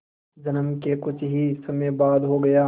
जन्म के कुछ ही समय बाद हो गया